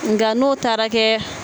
Nga n'o taara kɛ